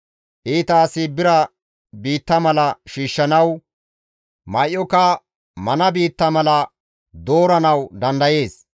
Iita asi bira biitta mala shiishshanawu, may7oka mana biitta mala dooranawu dandayees.